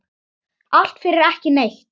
Allt fyrir ekki neitt.